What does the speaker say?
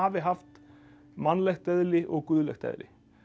haft mannlegt eðli og guðlegt eðli